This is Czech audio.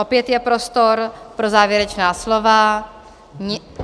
Opět je prostor pro závěrečná slova.